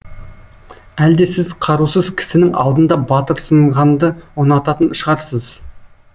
әлде сіз қарусыз кісінің алдында батырсынғанды ұнататын шығарсыз